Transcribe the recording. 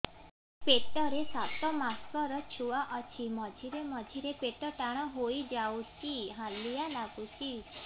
ପେଟ ରେ ସାତମାସର ଛୁଆ ଅଛି ମଝିରେ ମଝିରେ ପେଟ ଟାଣ ହେଇଯାଉଚି ହାଲିଆ ଲାଗୁଚି